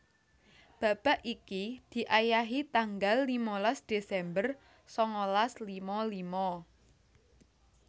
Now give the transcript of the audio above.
Babak iki diayahi tanggal limalas Desember sangalas lima lima